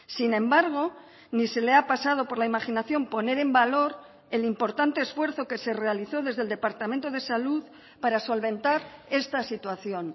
sin embargo ni se le ha pasado por la imaginación poner en valor el importante esfuerzo que se realizó desde el departamento de salud para solventar esta situación